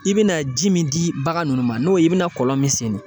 I bɛna ji min di bagan nunnu ma n'o ye i bɛna kɔlɔn min senni